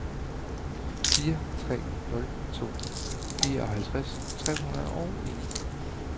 fire tre nul to fireoghalvfjerds tre hundrede og en